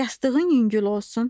Yastığın yüngül olsun.